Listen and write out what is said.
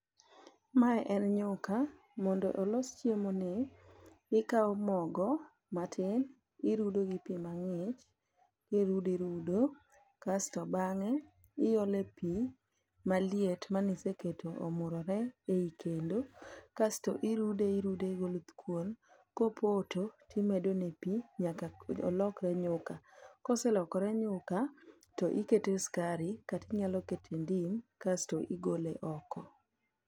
Mae en nyuka, mondo olos chiemo ni ikawo mogo matin irudo gi pi mang'ich. Irudo irudo, kasto bang'e iole pi maliet maniseketo omurore ei kendo. Kassto irude irude goluthkuon, kopoto timedone pi nyaka olokre nyuka. Koselokore nyuka, to ikete skari kata inyalo kete ndim kasto igole oko.